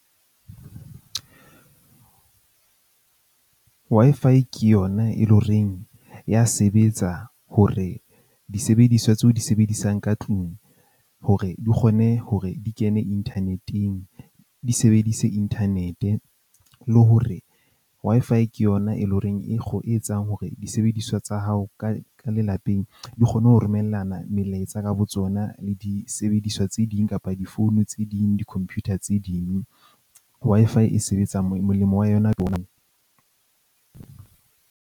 Wi-Fi ke yona e leng horeng ya sebetsa hore disebediswa tseo di sebedisang ka tlung hore di kgone hore di kene inthaneteng. Di sebedise internet-e le hore Wi-Fi ke yona e leng horeng e e etsang hore disebediswa tsa hao ka ka lelapeng di kgone ho romellana melaetsa ka botsona le disebediswa tse ding kapa difounu tse ding di-computer tse ding. Wi-Fi e sebetsa molemo wa yona ke .